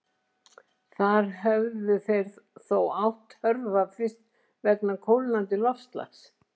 Þar hefðu þeir þó átt hörfa fyrst vegna kólnandi loftslags.